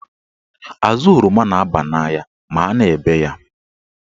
Azụ oroma n'aba n'anya ma a na-ebe ya.